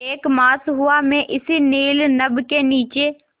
एक मास हुआ मैं इस नील नभ के नीचे